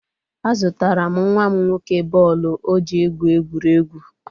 Azụtara m nwa m nwoke bọọlụ o ji egwu egwuregwu.